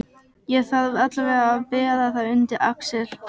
Ég þarf allavega að bera það undir Axel.